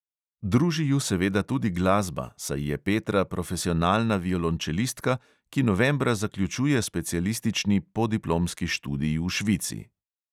Druži ju seveda tudi glasba, saj je petra profesionalna violončelistka, ki novembra zaključuje specialistični podiplomski študij v švici.